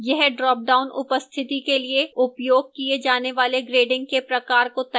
यह dropdown उपस्थिति के लिए उपयोग किए जाने वाले grading के प्रकार को तय करता है